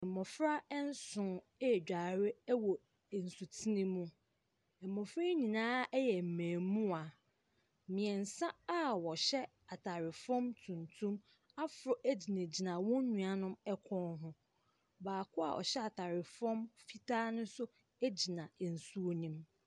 Mmɔfra nson redware wɔ nsutene bi mu. Mmɔfra no nyinaa yɛ mmɛɛmmoaa. Mmiɛnsa a wɔhyɛ ataare fam tuntum aforo gyinagyina wɔn nnuanom kɔn ho. Baako a ɔhyɛ ataare fam fitaa no nso gyina nsuo no mu.